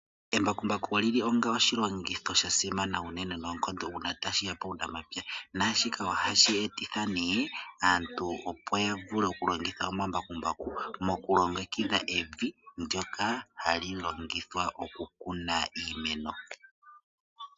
Embakumbaku olyili onga oshilongitho sha simana unene noonkondo uuna tashi ya puunamapya, naashika ohashi etitha nee aantu opo ya vule oku longitha omambakumbaku moku longekidha evi ndoka hali longithwa oku kuna iimeno.